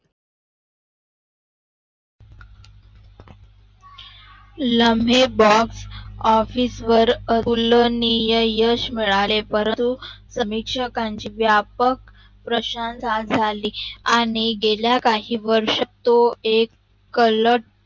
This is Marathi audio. लम्हे Box office वर फुलणीय यश मिळाले परंतु प्रेक्षकाची व्यापक प्रशंसहा झाली आणि गेल्या कही वर्षात तो एक कलट